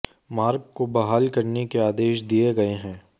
मार्ग को बहाल करने के आदेश दिए गए हैं